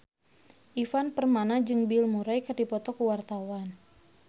Ivan Permana jeung Bill Murray keur dipoto ku wartawan